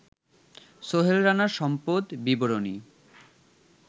সোহেল রানার সম্পদ বিবরণী